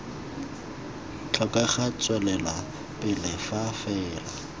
tlhokega tswelela pele fa fela